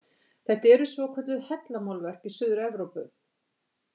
Þetta eru svokölluð hellamálverk í Suður-Evrópu.